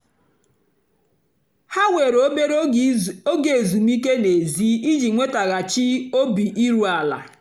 há wèrè óbérè óge ézúmíkè n'èzí íjì nwètaghachị́ óbì írú àlà.